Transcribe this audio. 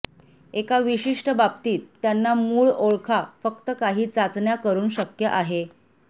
एका विशिष्ट बाबतीत त्यांना मूळ ओळखा फक्त काही चाचण्या करून शक्य आहे